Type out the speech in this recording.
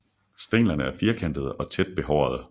Stænglerne er firkantede og tæt behårede